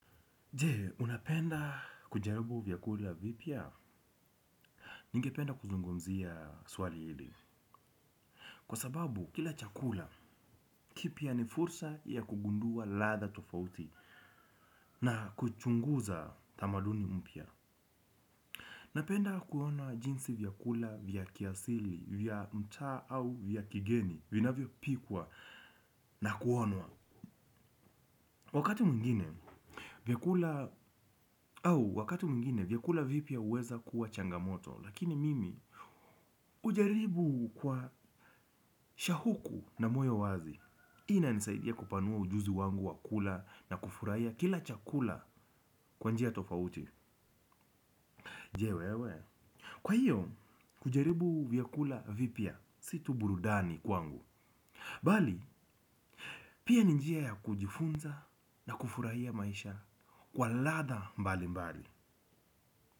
Je, unapenda kujaribu vyakula vipya? Ningependa kuzungumzia swali hili. Kwa sababu kila chakula kipya ni fursa ya kugundua ladha tofauti na kuchunguza tamaduni mpya. Napenda kuona jinsi vyakula vya kiasili, vya mtaa au vya kigeni, vinavyopikwa na kuonwa. Wakati mwingine vyakula au wakati mwingine, vyakula vipya huweza kuwa changamoto, lakini mimi hujaribu kwa shauku na moyo wazi hii inanisaidia kupanua ujuzi wangu wa kula na kufurahia kila chakula kwa njia tofauti. Je wewe? Kwa hio kujaribu vyakula vipya si tu burudani kwangu bali, pia ni njia ya kujifunza na kufurahia maisha kwa ladha mbali mbali.